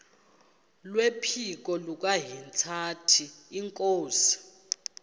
kwephiko likahintsathi inkosi